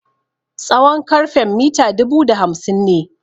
Tsawon karfen mita dubu da hamsin ne.